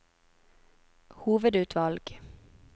hovedutvalg